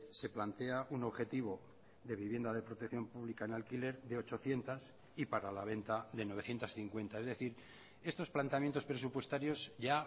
se plantea un objetivo de vivienda de protección pública en alquiler de ochocientos y para la venta de novecientos cincuenta es decir estos planteamientos presupuestarios ya